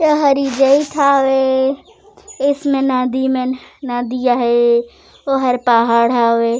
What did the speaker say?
ए हरी गेट हवे इसमें नदी मन नदियाँ हे ओहर पहाड़ हवे।